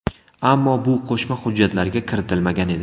Ammo bu qo‘shma hujjatlarga kiritilmagan edi.